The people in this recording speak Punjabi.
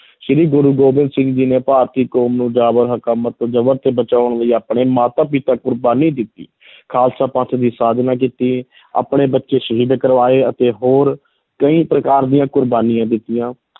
ਸ੍ਰੀ ਗੁਰੂ ਗੋਬਿੰਦ ਸਿੰਘ ਜੀ ਨੇ ਭਾਰਤੀ ਕੌਮ ਨੂੰ ਜਾਬਰ ਹਕੂਮਤ ਜਬਰ ਤੋਂ ਬਚਾਉਣ ਲਈ ਆਪਣੇ ਮਾਤਾ ਪਿਤਾ ਕੁਰਬਾਨੀ ਦਿੱਤੀ ਖਾਲਸਾ ਪੰਥ ਦੀ ਸਾਜਨਾ ਕੀਤੀ ਆਪਣੇ ਬੱਚੇ ਸ਼ਹੀਦ ਕਰਵਾਏ ਅਤੇ ਹੋਰ ਕਈ ਪ੍ਰਕਾਰ ਦੀਆਂ ਕੁਰਬਾਨੀਆਂ ਦਿੱਤੀਆਂ।